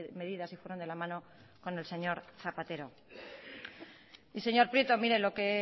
medidas y fueron de la mano con el señor zapatero y señor prieto mire lo que